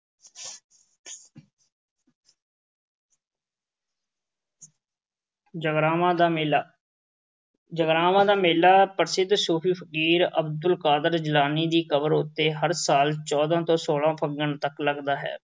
ਜਗਰਾਵਾਂ ਦਾ ਮੇਲਾ। ਜਗਰਾਵਾਂ ਦੇ ਮੇਲਾ ਪ੍ਰਸਿੱਧ ਸੂਫ਼ੀ ਫ਼ਕੀਰ ਅਬਦੁਲ ਕਾਦਰ ਜਲਾਨੀ ਦੀ ਕਬਰ ਉੱਤੇ ਹਰ ਸਾਲ ਚੌਦਾਂ ਤੋਂ ਸੋਲਾਂ ਫੱਗਣ ਤੱਕ ਲੱਗਦਾ ਹੈ।